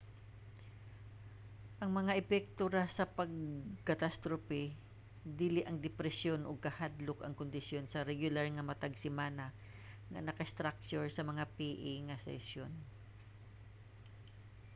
ang mga epekto ra sa pag-catastrophe dili ang depresyon ug kahadlok ang kondisyon sa regular nga matag semana nga naka-structure nga mga pa nga sesyon